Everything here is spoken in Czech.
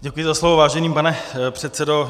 Děkuji za slovo, vážený pane předsedo.